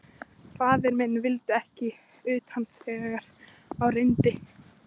Faðir minn vildi ekki utan þegar á reyndi.